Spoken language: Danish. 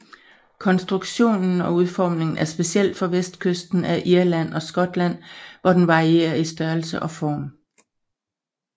Konstruktion og udformning er speciel for vestkysten af Irland og Skotland hvor den varierer i størrelse og form